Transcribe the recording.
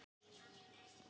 Yfir sig ástfangin.